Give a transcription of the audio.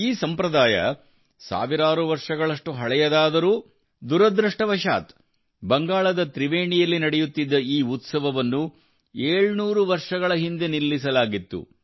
ಈ ಸಂಪ್ರದಾಯವು ಸಾವಿರಾರು ವರ್ಷಗಳಷ್ಟು ಹಳೆಯದಾದರೂ ದುರದೃಷ್ಟವಶಾತ್ ಬಂಗಾಳದ ತ್ರಿವೇಣಿಯಲ್ಲಿ ನಡೆಯುತ್ತಿದ್ದ ಈ ಉತ್ಸವವನ್ನು 700 ವರ್ಷಗಳ ಹಿಂದೆ ನಿಲ್ಲಿಸಲಾಗಿತ್ತು